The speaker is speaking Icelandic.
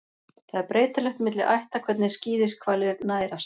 Það er breytilegt milli ætta hvernig skíðishvalir nærast.